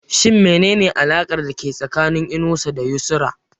Shin menene alakar dake tsakanin Inusa da Yusra?